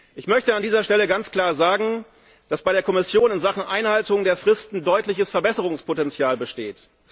Ich möchte an dieser Stelle ganz klar sagen, dass bei der Kommission in Sachen Einhaltung der Fristen deutliches Verbesserungspotenzial besteht.